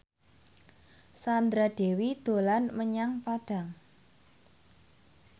Sandra Dewi dolan menyang Padang